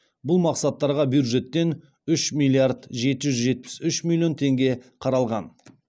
бұл мақсаттарға бюджеттен үш миллиард жеті жүз жетпіс үш миллион теңге қаралған